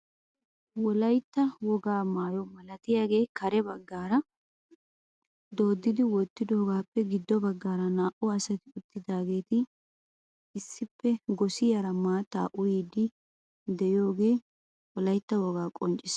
Wolaytta wogaa maayo milatiyaagee kare baggaara dooddi wottidoogappe giddo baggaara naa"u asati uttidageeti issippe gosiyaara maattaa uyiidi de'iyooge wolaytta wogaa qonccisses.